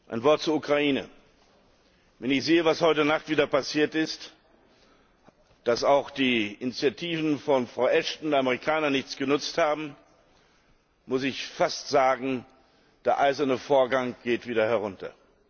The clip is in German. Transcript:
Ein Wort zur Ukraine Wenn ich sehe, was heute Nacht wieder passiert ist, dass auch die Initiativen von Frau Ashton und den Amerikanern nichts genutzt haben, muss ich fast sagen Der Eiserne Vorhang geht wieder herunter.